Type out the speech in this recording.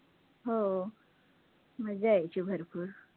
हो मज्जा यायची भरपूर